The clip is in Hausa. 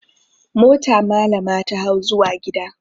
Mota malama ta hau zuwa gida.